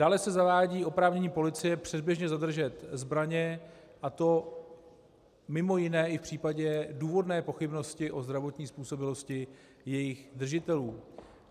Dále se zavádí oprávnění policie předběžně zadržet zbraně, a to mimo jiné i v případě důvodné pochybnosti o zdravotní způsobilosti jejich držitelů.